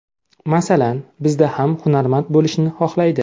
Masalan, bizda hamma hunarmand bo‘lishni xohlaydi.